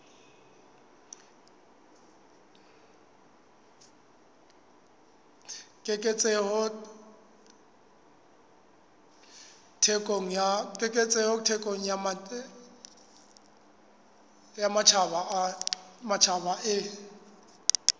keketseho thekong ya matjhaba e